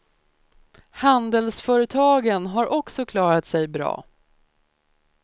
Handelsföretagen har också klarat sig bra.